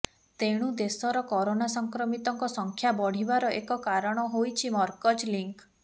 ତେଣୁ ଦେଶର କରୋନା ସଂକ୍ରମିତଙ୍କ ସଂଖ୍ୟା ବଢିବାର ଏକ କାରଣ ହୋଇଛି ମରକଜ୍ ଲିଙ୍କ୍